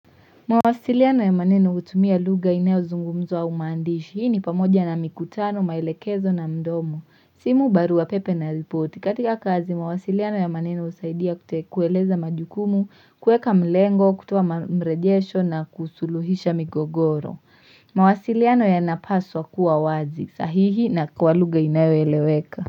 Mawasiliano ya maneno hutumia lugha inayo zungumzwa au maandishi. Hii ni pamoja na mikutano, maelekezo na mdomo. Simu barua pepe na ripoti. Katika kazi, mawasiliano ya maneno husaidia kueleza majukumu, kuweka mlengo, kutoa mrejesho na kusuluhisha migogoro. Mawasiliano yanapaswa kuwa wazi. Sahihi na kwa lugha inayo eleweka.